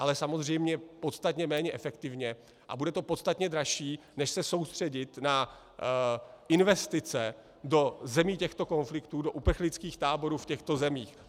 Ale samozřejmě podstatně méně efektivně a bude to podstatně dražší než se soustředit na investice do zemí těchto konfliktů, do uprchlických táborů v těchto zemích.